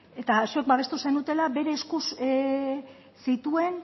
eta zuek babestu zenutela bere eskuz zituen